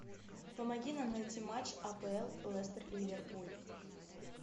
помоги нам найти матч апл лестер ливерпуль